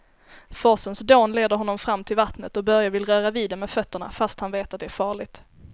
Forsens dån leder honom fram till vattnet och Börje vill röra vid det med fötterna, fast han vet att det är farligt.